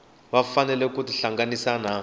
va fanele ku tihlanganisa na